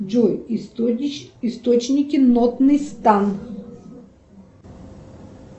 джой источники нотный стан